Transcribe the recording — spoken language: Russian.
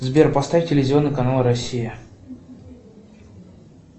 сбер поставь телевизионный канал россия